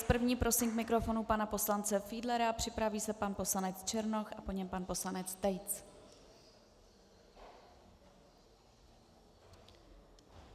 S první prosím k mikrofonu pana poslance Fiedlera, připraví se pan poslanec Černoch a po něm pan poslanec Tejc.